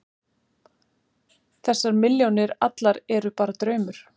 Þessar milljónir allar eru bara draumur.